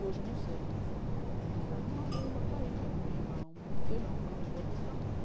Hoje eu não sei, mas... Estava uma bomba caída no meio lá, um morteirão lá, um negócio desse tamanho.